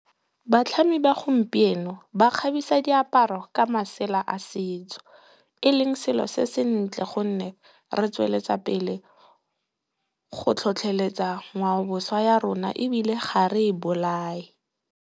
Batlhami ba gompieno ba kgabisa diaparo ka masela a setso eleng selo se sentle gonne, re tsweletsa pele go tlhotlheletsa ngwao boswa ya rona ebile, ga re e bolae.